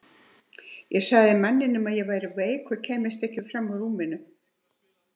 Ég sagði manninum að ég væri veik og kæmist ekki fram úr rúminu.